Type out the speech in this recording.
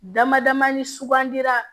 Dama dama ni sugandira